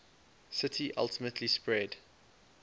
city ultimately spread